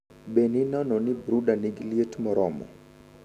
BE ninono ni brooder nigi liet moromo.